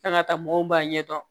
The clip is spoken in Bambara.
K'an ka taa mɔgɔw b'a ɲɛdɔn